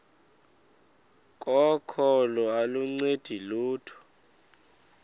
kokholo aluncedi lutho